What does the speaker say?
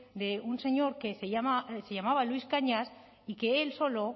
de un señor que se llama se llamaba luis cañas y que él solo